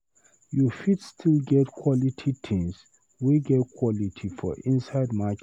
You fit still get quality tins wey get quality for inside market.